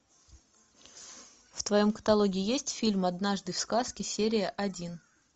в твоем каталоге есть фильм однажды в сказке серия один